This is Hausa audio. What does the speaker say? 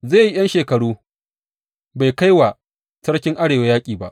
Zai yi ’yan shekaru bai kai wa sarkin Arewa yaƙi ba.